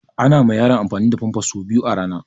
Ana ma yaro amfani da famfas sau biyu a rana